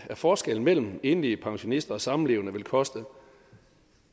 forskellen mellem enlige pensionister og samlevende vil koste